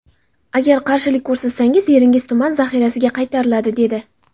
Agar qarshilik ko‘rsatsangiz, yeringiz tuman zaxirasiga qaytariladi’, dedi.